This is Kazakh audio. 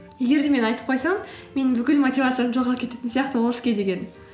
егер де мен айтып қойсам менің бүкіл мотивациям жоғалып кететін сияқты ол іске деген